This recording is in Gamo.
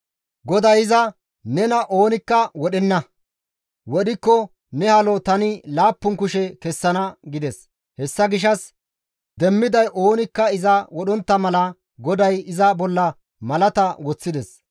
GODAY iza, «Nena oonikka wodhenna; wodhikko ne halo tani laappun kushe kessana» gides; hessa gishshas demmiday oonikka iza wodhontta mala GODAY iza bolla malata woththides.